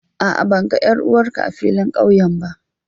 A'a ban ga 'yar'uwar ka a filin kauye ba.